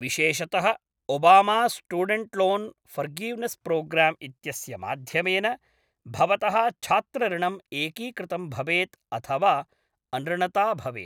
विशेषतः, ओबामास्टूडेण्ट्‌लोन्‌फ़र्गिव्नेस्‌प्रोग्राम्‌ इत्यस्य माध्यमेन भवतः छात्रऋणम् एकीकृतं भवेत् अथवा अनृणता भवेत्।